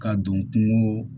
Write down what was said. Ka don kungo